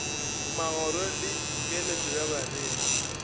magoro le keletšo ya bareki